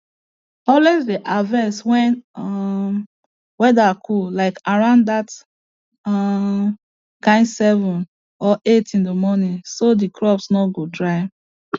always dey harvest when um weather cool like around that um kain seven or eight in the morning so the crop no go dry